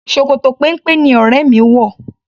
Ṣòkòtò péńpé ni ọrẹ mi wò.